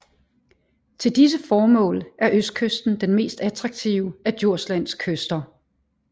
Til disse formål er østkysten den mest attraktive af Djurslands kyster